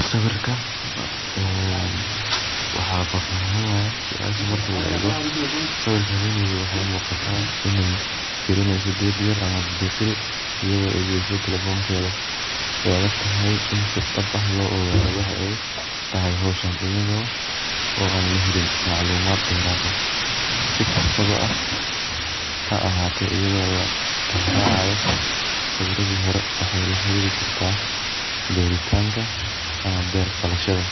Sawirka waxaa fafahin u eh sawirka haweney marki la ego suasha tijawadedo waxee muqataa in ee firineyso geed yar ama fiqil geed yar iyada oo egeso talefonkedha wey aadagtahay In si fudud lo aruriyo ee tahay hoshan iyada oo an lagelij maclumaad deer ah si kastawa ha ahate iyada oo la tixracayo sawiradhi hore waxee la xariri kartaa beritanka ama berashada